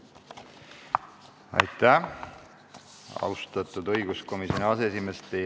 Aitäh, austatud õiguskomisjoni aseesimees!